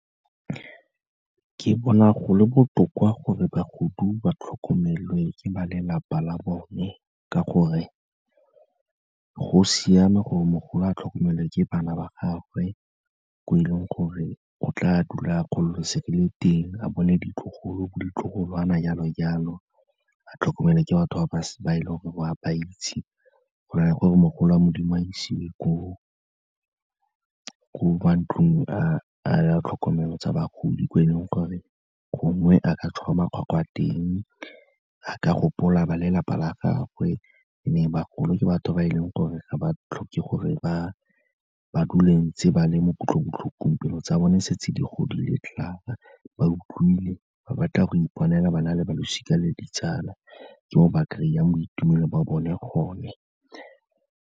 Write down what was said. Ke bona go le botoka gore ba tlhokomelwe ke ba lelapa la bone ka gore go siame gore mogolo a tlhokomelwa ke bana ba gagwe, ko e leng gore o tla dula a gololosegile teng, a bone ditlogolo, bo ditlogolwana jalo-jalo, a tlhokomelwe ke batho ba e leng gore o wa ba itse go na le gore mogolo wa Modimo a isiwe ko matlung a tlhokomelo tsa bagodi ko e leng gore gongwe a ka tswarwa makgwakgwa teng, a ka gopola ba lelapa la gagwe and-e bagolo ke batho ba e leng gore ga ba tlhoke gore ba dule ntse ba le mo kutlobotlhokong, pelo tsa bone di setse di godile klaar ba utlwile, ba batla go ipona fela ba na le ba losika le ditsala, ke mo ba kry-ang boitumelo ba bone gone.